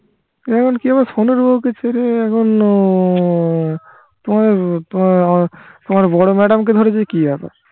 এখন কি আবার ফনির বৌকে ছেড়ে এখন উহ তোমার তোমার বড় madam কে ধরেছে কি আবার